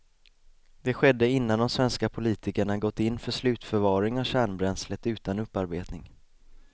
Det skedde innan de svenska politikerna gått in för slutförvaring av kärnbränslet utan upparbetning.